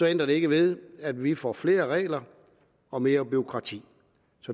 ændrer det ikke ved at vi får flere regler og mere bureaukrati